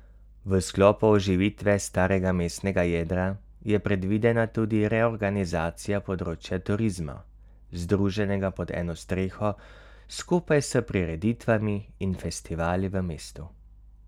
V sklopu oživitve starega mestnega jedra je predvidena tudi reorganizacija področja turizma, združenega pod eno streho skupaj s prireditvami in festivali v mestu.